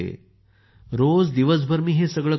रोज दिवसभर मी हेच सगळं करत होते